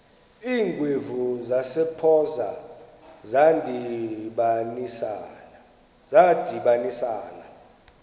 iingwevu zasempoza zadibanisana